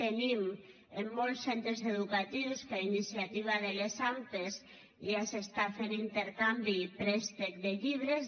tenim en molts centres educatius que a iniciativa de les ampa ja s’està fent intercanvi i préstec de llibres